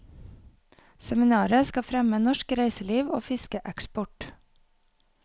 Seminaret skal fremme norsk reiseliv og fiskeeksport.